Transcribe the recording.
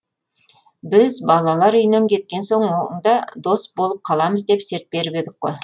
біз балалар үйінен кеткен соң да дос болып қаламыз деп серт беріп едік қой